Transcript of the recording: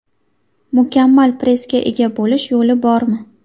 Mukammal pressga ega bo‘lish yo‘li bormi?.